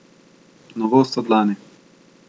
Novost od lani.